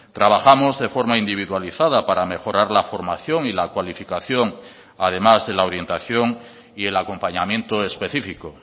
trabajamos de forma individualizada para mejorar la formación y la cualificación además de la orientación y el acompañamiento específico